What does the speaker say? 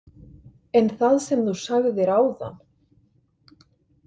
En það sem þú sagðir áðan?